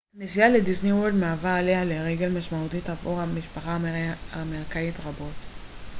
נסיעה לדיסניוורלד מהווה עליה לרגל משמעותית עבור משפחות אמריקאיות רבות